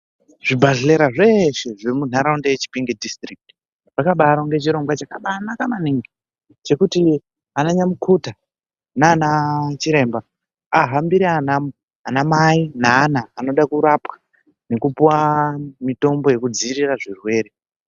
Zvibhedhlera zveshe zvemuntaraunta yeChipinge Dhisitirikiti, zvakabaironga chirongwa chakanaka maningi chekuti ananyamukuta nanachiremba ahambire anamai naana anoda kurapwa nekupuwa mitombo yekudziirira zvirwere.